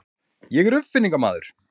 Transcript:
Ég er uppfinningamaður.